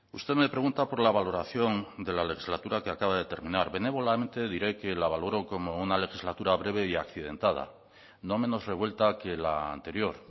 usted me pregunta por la valoración de la legislatura que acaba de terminar benévolamente diré que la valoro como una legislatura breve y accidentada no menos revuelta que la anterior